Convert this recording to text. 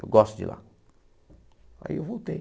Eu gosto de lá. Aí eu voltei